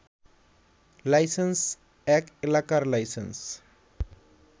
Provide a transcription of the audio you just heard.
licence এক এলাকার licence